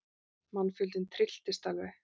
Mannfjöldinn trylltist alveg.